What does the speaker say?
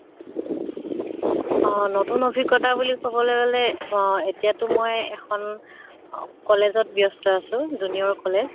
অ নতুন অভিজ্ঞ্তা বুলি কবলে গʼলে অহ এতিয়াটো মই এখন অহ college ত ব্য়স্ত আছো, junior college